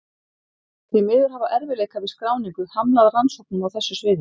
Því miður hafa erfiðleikar við skráningu hamlað rannsóknum á þessu sviði.